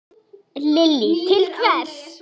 Lillý: Til hvers?